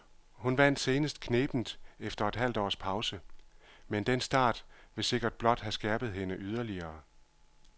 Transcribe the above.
Hun vandt senest knebent efter et halvt års pause, men den start vil sikkert blot have skærpet hende yderligere.